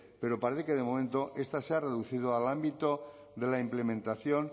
pero parece que de momento esta se ha reducido al ámbito de la implementación